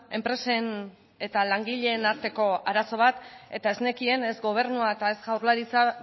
enpresen eta langileen arteko arazo bat eta ez nekien ez gobernua eta ez jaurlaritza